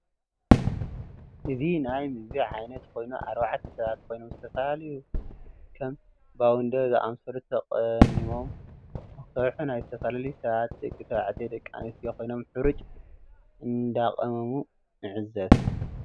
እዚ ናይ ምግብ ዓይነት ኮይኑ ኣርባዕተ ሰባት ኮይኖም ዝተፈላላዩ ከም ፓውደር ዝኣምሰሉ ተቂሞምሙ ንክሰርሑ ናይ ዝተፈላላዩ ሰባት ደቂ ተባዕትዮ ደቂ ኣንስትዮን ኮይኖም ሕሩጭ እዳቃመሙ ንዕዘብ